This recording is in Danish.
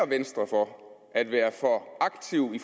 venstre for at være aktive i